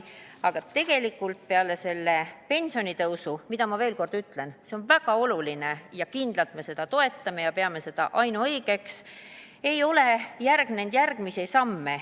" Aga tegelikult sellele pensionitõusule – veel kord ütlen, et see on väga oluline, kindlasti me seda toetame ja peame seda ainuõigeks – ei ole järgnenud järgmisi samme.